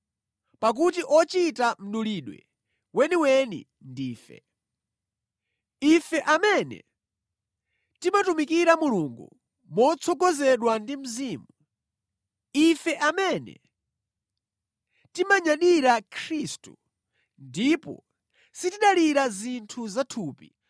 Pakuti ochita mdulidwe weniweni ndife. Ife amene timatumikira Mulungu motsogozedwa ndi Mzimu. Ife amene timanyadira Khristu, ndipo sitidalira zinthu za thupi